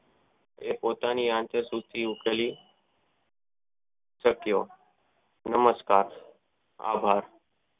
એ પોતાની આગળ સુતેલી સક્રિય નમસ્કાર આભાર